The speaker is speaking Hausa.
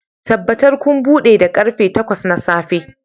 Tabbatar kun buɗe da karfe takwas na safe